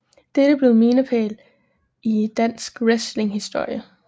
Dette blev en milepæl i Dansk Wrestling historie